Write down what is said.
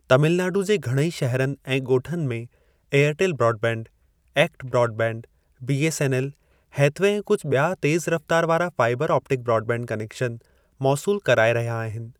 तमिलनाडु जे घणेई शहरनि ऐं ॻोठाणनि में Airtel broadband, ACT broadband, BSNL, Hathway ऐं कुझु बि॒या तेज़ रफ़्तारु वारा फाइबर ऑप्टिक ब्रॉडबैंड कनेक्शन मौसूल कराए रहिया आहिनि।